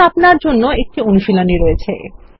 এখন আপনাদের জন্য একটি অনুশীলনী আছে